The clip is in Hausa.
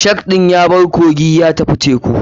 Shark ɗin yabar sea ya tafi teku.